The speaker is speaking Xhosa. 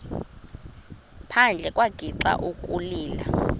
phandle wagixa ukulila